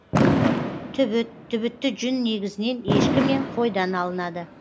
түбіт түбітті жүн негізінен ешкі мен қойдан алынады